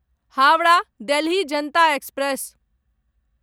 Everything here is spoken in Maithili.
हावड़ा देलहि जनता एक्सप्रेस